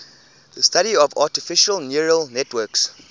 the study of artificial neural networks